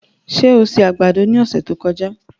Ṣé o se àgbàdo ní ọ̀sẹ̀ tí ó kọjá?